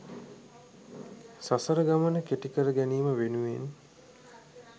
සසර ගමන කෙටි කරගැනීම වෙනුවෙන්